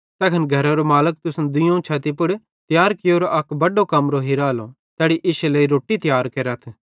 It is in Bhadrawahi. तैखन घरेरो मालिक तुसन दुइयोवं छती पुड़ तियार कियोरो अक बड्डो कमरो हिरालो तैड़ी इश्शे लेइ रोट्टी तियार केरथ